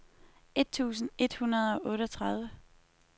et tusind et hundrede og otteogtredive